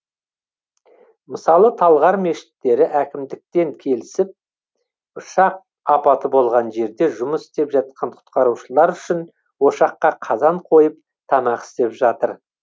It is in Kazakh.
мысалы талғар мешіттері әкімдікпен келісіп ұшақ апаты болған жерде жұмыс істеп жатқан құтқарушылар үшін ошаққа қазан қойып тамақ істеп жатыр